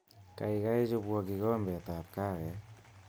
Kaikai chobwo kikombetab kahawek